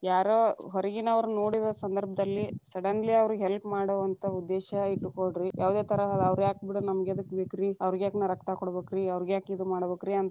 ಯಾರೋ ಹೊರಗಿನವರು ನೋಡಿದ ಸಂದಭ೯ದಲ್ಲಿ suddenly ಅವ್ರೀಗೆ help ಮಾಡುವಂತ ಉದ್ದೇಶ ಇಟ್ಟಕೊಳ್ರಿ, ಯಾವದೇ ತರಹದ ಅವ್ರ್ಯಾಕಬಿಡ ನಮಗೇದಕ್‌ ಬೇಕರೀ ಅವ್ರಗ್ಯಾಕ ನಾ ರಕ್ತ ಕೊಡಬೇಕ್ರೀ ಅವ್ರಗ್ಯಾಕ ಇದ ಮಾಡಬೇಕರೀ.